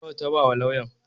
Nawa ta ba wa lauyan?